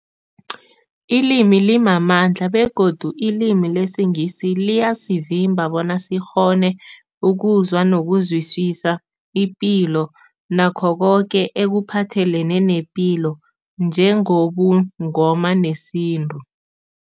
Ilimi limamandla begodu ilimi lesiNgisi liyasivimba bona sikghone ukuzwa nokuzwisisa ipilo nakho koke ekuphathelene nepilo njengobuNgoma nesintu.